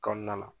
Kɔnɔna la